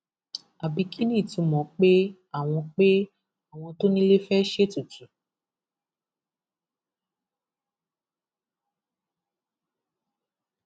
àbí kí ni ìtumọ pé àwọn pé àwọn tó nílé fẹẹ ṣètùtù